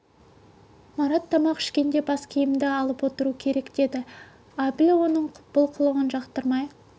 марат тамақ ішкенде бас киімді алып отыру керек деді әбіл оның бұл қылығын жақтырмай